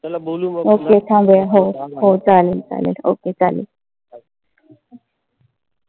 okay थांबूया. हो हो. चालेल चालेल. okay चालेल.